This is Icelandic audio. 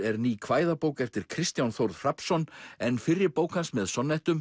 er ný kvæðabók eftir Kristján Þórð Hrafnsson en fyrri bók hans með